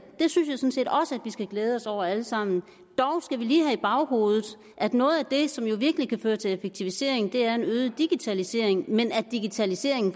skal glæde os over alle sammen dog skal vi lige have i baghovedet at noget af det som jo virkelig kan føre til effektivisering er en øget digitalisering men at digitaliseringen